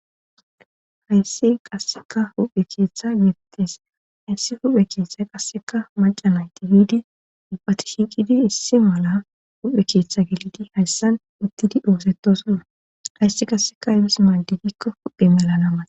Hayssi qasseka huphe keeththa gibitis issi huphe keeththay qasseka macanayti hiidi ubbati shiiqidi issi mala huphe keeththa gelidi hayssan uttidi doosetosonna hayssi qasseka imis maadidikko huphe melana ma.